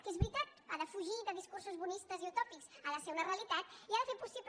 que és veritat ha de fugir de discursos bonistes i utòpics ha de ser una realitat i ha de fer possible